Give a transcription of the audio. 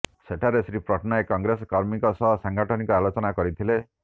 ସେଠାରେ ଶ୍ରୀ ପଟ୍ଟନାୟକ କଂଗ୍ରେସ କର୍ମୀଙ୍କ ସହ ସାଙ୍ଗଠନିକ ଆଲୋଚନା କରିଥିଲେ